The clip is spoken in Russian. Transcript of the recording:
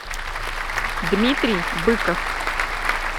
дмитрий быков